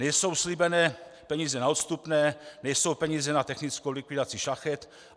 Nejsou slíbené peníze na odstupné, nejsou peníze na technickou likvidaci šachet.